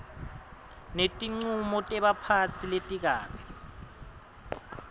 netincumo tebaphatsi letikabi